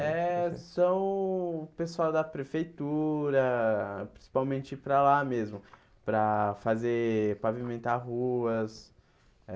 É, são o pessoal da prefeitura, principalmente para lá mesmo, para fazer, pavimentar ruas eh.